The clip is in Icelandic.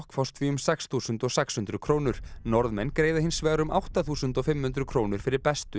fást því um sex þúsund sex hundruð krónur Norðmenn greiða hins vegar um átta þúsund fimm hundruð krónur fyrir bestu